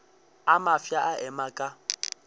a mafsa a ema ka